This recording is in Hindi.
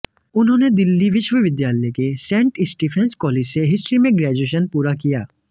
उन्होंने दिल्ली विश्वविद्यालय के सेंट स्टीफेंस कॉलेज से हिस्ट्री में ग्रेजुएशन पूरा किया